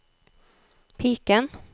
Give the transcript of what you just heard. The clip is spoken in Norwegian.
piken